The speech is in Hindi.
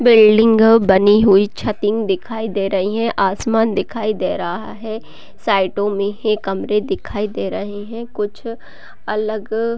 बिल्डिंग बनी हुई छतिंग दिखाई दे रही है आसमान दिखाई दे रहा है साइडो में ही कमरे दिखाई दे रहे हैं कुछ अलग--